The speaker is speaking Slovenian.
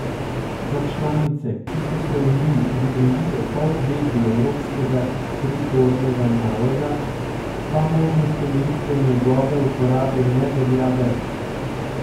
Za članice, ki so se uniji pridružile po uvedbi evropskega pripornega naloga, pa možnost omejitve njegove uporabe ne velja več.